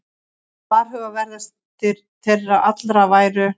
Varhugaverðastir þeirra allra væru